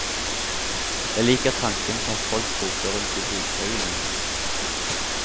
Jeg liker tanken på at folk roter rundt i bokhaugene.